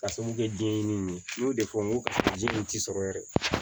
Ka sabu kɛ denɲɛnin ye n y'o de fɔ n ko karisa ji min ti sɔrɔ yɛrɛ